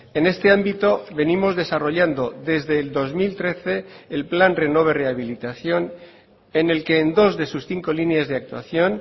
en este ámbito venimos desarrollando desde el dos mil trece el plan renove rehabilitación en el que en dos de sus cinco líneas de actuación